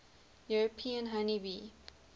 european honey bee